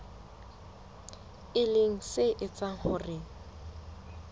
e leng se etsang hore